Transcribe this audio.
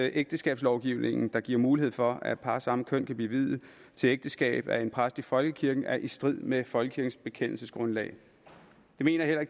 ægteskabslovgivningen der giver mulighed for at par af samme køn kan blive viet til ægteskab af en præst i folkekirken er i strid med folkekirkens bekendelsesgrundlag det mener jeg